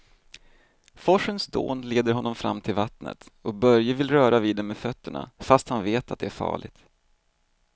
Forsens dån leder honom fram till vattnet och Börje vill röra vid det med fötterna, fast han vet att det är farligt.